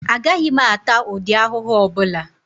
Agaghị m ata ụdị ahụhụ ọbụla